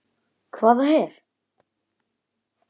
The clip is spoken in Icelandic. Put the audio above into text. Hvaða her?